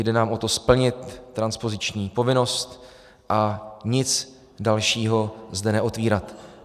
Jde nám o to splnit transpoziční povinnost a nic dalšího zde neotvírat.